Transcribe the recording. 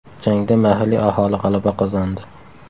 Jangda mahalliy aholi g‘alaba qozondi.